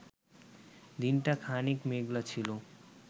দিনটা খানিক মেঘলা ছিল